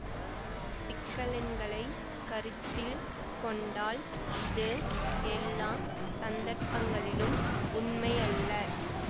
சிக்கலெண்களைக் கருத்தில் கொண்டால் இது எல்லா சந்தர்ப்பங்களிலும் உண்மையல்ல